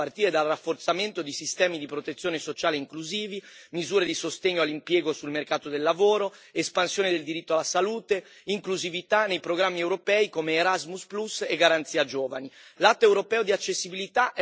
Possiamo e dobbiamo fare di più, a partire dal rafforzamento di sistemi di protezione sociale inclusivi, misure di sostegno all'impiego sul mercato del lavoro, espansione del diritto alla salute, inclusività nei programmi europei come Erasmus Plus e Garanzia giovani.